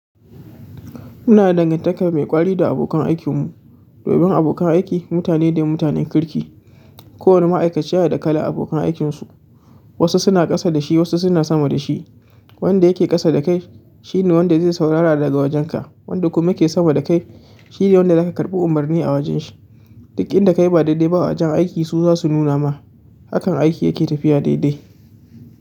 Ina da dangantaka mai ƙwari da abokan aikin mun. Domin abokan aiki mutane ne mutanen kirki. Ko wani ma'aikaci yana da kalan abokan aikinsu. Wasu suna ƙasa da shi wasu suna sama da shi. Wanda yake ƙasa da kai shine wanda zai saurara daga wajenka wanda kuma yake sama da kai shine wanda zaka karɓi umarni a wajen shi. Duk inda kayi ba daidai ba a wajen aiki su zasu nuna ma, hakan aiki yake tafiya daidai.